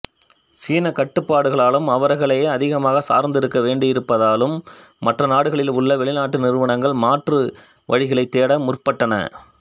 சீன கட்டுப்பாடுகளாலும் அவர்களையே அதிகமாக சார்ந்து இருக்க வேண்டியிருப்பதாலும் மற்றநாடுகளில் உள்ள வெளிநாட்டு நிறுவனங்கள் மாற்று வழிகளைத் தேட முற்பட்டன